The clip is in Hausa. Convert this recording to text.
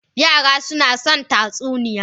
Yara suna son tatsuniya.